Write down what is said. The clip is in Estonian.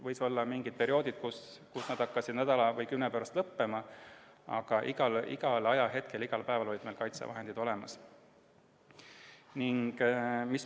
Võisid olla mingid perioodid, kui varud hakkasid nädala või kümne päeva pärast lõppema, aga igal ajahetkel, igal päeval olid meil kaitsevahendid olemas.